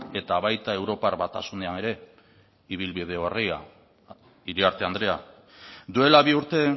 eta baita europar batasunean ere ibilbide orria iriarte andrea duela bi urte